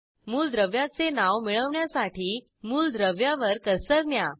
मूलद्रव्याचे नाव मिळवण्यासाठी मूलद्रव्यावर कर्सर न्या